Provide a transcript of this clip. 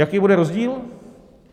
Jaký bude rozdíl?